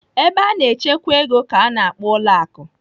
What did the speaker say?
Ebe a na-echekwa ego ka a na-akpọ ụlọ akụ.